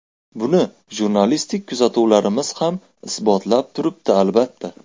Buni jurnalistik kuzatuvlarimiz ham isbotlab turibdi, albatta.